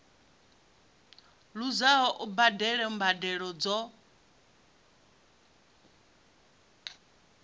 luzaho u badela mbadelo dzo